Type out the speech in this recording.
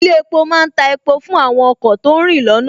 Ilé epo má ń ta epo fún àwọn ọkọ̀ tó ń rìn lọ́nà